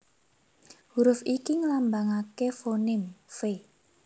Huruf iki nglambangaké foném /V/